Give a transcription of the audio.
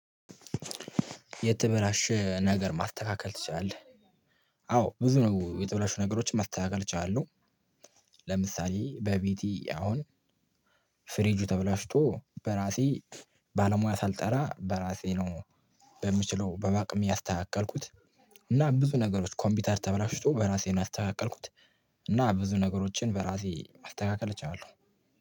የተበላሸ ነገር ማስተካከል ትችላለህ? አዎ ብዙ ነገር የተበላሸ ነገሮችን ማስተካከል እችላለው። ለምሳሌ በቤቴ አሁን ፍሪጁ ተበላሽቶ በራሴ ባለሙያ ሳልጠራ በራሴ ነው በምችለው በአቅሜ ያስተካከልኩት። እና ብዙ ነገሮች ኮምፒውተር ተበላሽቶ በራሴን ያስተካከልኩት። እና ብዙ ነገሮችን በራሴ ማስተካከል እችላለሁ